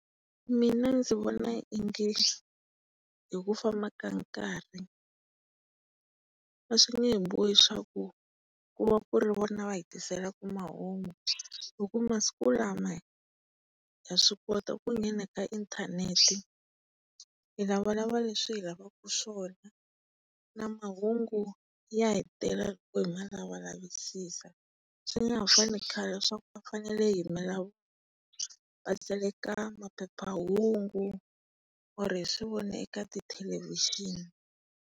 Mina ndzi vona hi ku famba ka nkarhi a swi nge he bohi swaku kuva ku ri vona va hi tiselaka mahungu hi ku masiku lama ha swi kota ku nghena ka inthanete, hi lavalava leswi hi lavaka swona, na mahungu ya hi tela loko hi ma lavalavisisa. Swi nga ha fani na khale leswaku a fanele hi vatsala ka maphephahungu or hi swivona eka tithelevhixini.